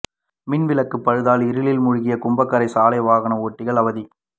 மின்விளக்கு பழுதால் இருளில் மூழ்கிய குப்பாங்கரை சாலை வாகன ஓட்டிகள் அவதி